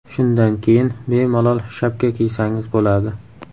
Shundan keyin bemalol shapka kiysangiz bo‘ladi.